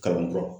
Kalan kura